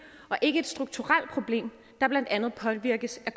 og ikke et strukturelt problem der blandt andet påvirkes af